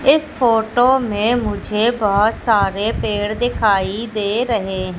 इस फोटो में मुझे बहोत सारे पेड़ दिखाई दे रहे--